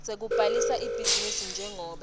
sekubhalisa ibhizinisi njengobe